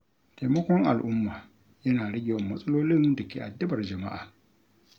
Taimakon al’umma yana rage yawan matsalolin da ke addabar jama’a.